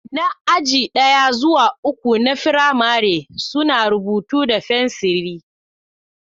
Na aji ɗaya zuwa uku na firamare suna rubutu da fenciri.